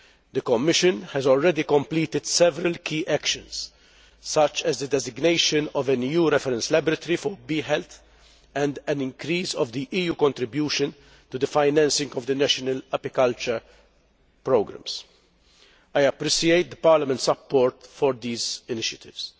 The Commission has already completed several key actions, such as the designation of an EU reference laboratory for bee health and an increase in the EU's contribution to the financing of the national apiculture programmes. I appreciate Parliament's support for these initiatives.